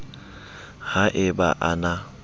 ha e ba a na